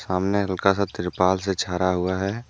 सामने हल्का सा तिरपाल से छारा हुआ है।